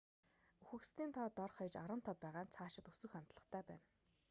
үхэгсдийн тоо дор хаяж 15 байгаа нь цаашид өсөх хандлагатай байна